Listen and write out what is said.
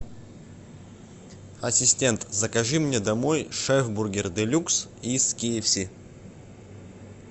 ассистент закажи мне домой шефбургер делюкс их кфс